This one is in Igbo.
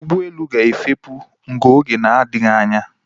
Ụgbọelu a ga-efepù n'oge na-adịghị anya